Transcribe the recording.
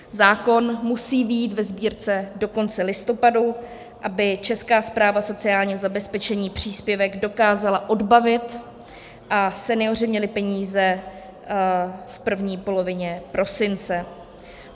Zákon musí být ve Sbírce do konce listopadu, aby Česká správa sociálního zabezpečení příspěvek dokázala odbavit a senioři měli peníze v první polovině prosince.